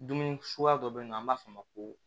Dumuni suguya dɔ bɛ yen nɔ an b'a fɔ o ma ko